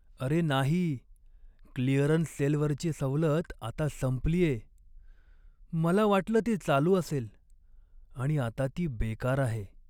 अरे नाही! क्लिअरन्स सेलवरची सवलत आता संपलीये. मला वाटलं ती चालू असेल आणि आता ती बेकार आहे.